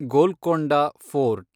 Golconda fort